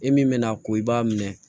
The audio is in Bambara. E min bɛ na ko i b'a minɛ